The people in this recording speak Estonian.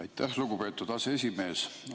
Aitäh, lugupeetud aseesimees!